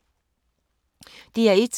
DR1